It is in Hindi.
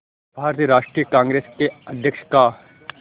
भारतीय राष्ट्रीय कांग्रेस के अध्यक्ष का